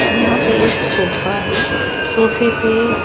यहां पे एक सोफा है सोफे पे--